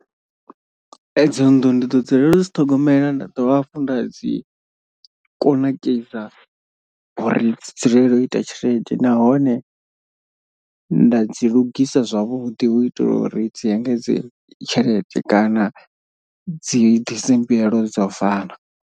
E dzo nnḓu ndi ḓo dzulela u dzi ṱhogomela nda dovha hafhu nda dzi kunakisa uri dzi dzulele u ita tshelede. Nahone nda dzi lugisa zwavhuḓi hu itela uri dzi engedze tshelede kana dzi ḓise mbuyelo dza u fana.